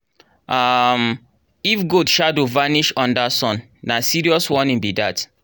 um if goat shadow vanish under sun na serious sign be dat.